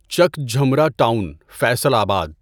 چک جھمرہ ٹاؤن، فیصل آباد